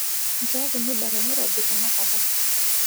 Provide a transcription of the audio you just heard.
nchokii muda te nairobi tenakata